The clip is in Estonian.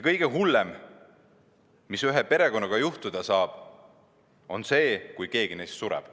Kõige hullem, mis ühe perekonnaga juhtuda saab, on see, kui keegi selle liikmetest sureb.